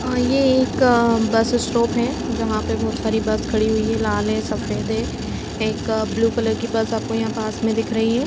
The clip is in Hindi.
अ ये एक बस स्टॉप है जहां पे बहुत सारी बस खड़ी हुई है लाल है सफेद है एक ब्लू कलर की बस आपको यहां पास में दिख रही है ।